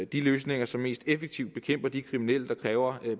de løsninger som mest effektivt bekæmper de kriminelle der kræver